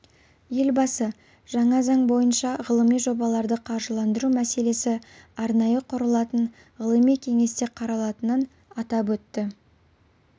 елбасы жаңа заң бойынша ғылыми жобаларды қаржыландыру мәселесі арнайы құрылатын ғылыми кеңесте қаралатынын атап өтті